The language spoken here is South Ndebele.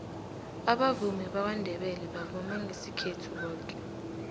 abavumi bakwandebele bavuma ngesikhethu boke